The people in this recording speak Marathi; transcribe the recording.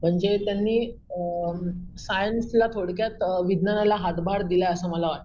म्हणजे त्यांनी अम सायन्सला थोडक्यात अम विज्ञानाला हातभार दिला असं मला वाटत.